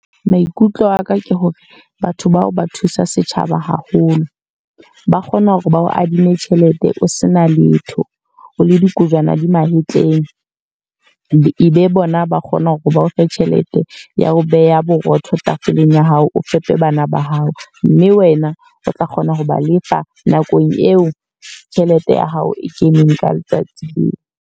Maikutlo aka ke hore batho bao ba thusa setjhaba haholo. Ba kgona hore ba o adime tjhelete o se na letho, o le dikojwana di mahetleng. E be bona ba ba kgona hore ba o fe tjhelete ya ho beha borotho tafoleng ya hao o fepe bana ba hao. Mme wena o tla kgona ho ba lefa nakong eo tjhelete ya hao e keneng ka letsatsi leo.